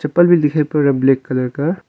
भी दिखाई पड़ रहा ब्लैक कलर का।